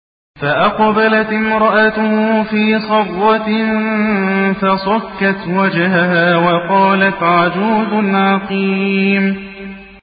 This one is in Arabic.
فَأَقْبَلَتِ امْرَأَتُهُ فِي صَرَّةٍ فَصَكَّتْ وَجْهَهَا وَقَالَتْ عَجُوزٌ عَقِيمٌ